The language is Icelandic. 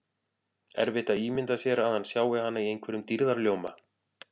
Erfitt að ímynda sér að hann sjái hana í einhverjum dýrðarljóma.